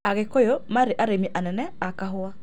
Agĩkũyũ marĩ arĩmi anene a kahũa.